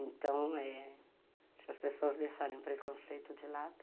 Então, se as pessoas deixarem o preconceito de lado,